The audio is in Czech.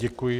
Děkuji.